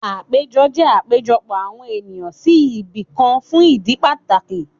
Àpéjọ jẹ́ àpéjọpọ̀ àwọn ènìyàn sí ibìkan fún ìdí pàtàkì